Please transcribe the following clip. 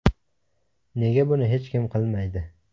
Nega buni hech kim qilmaydi?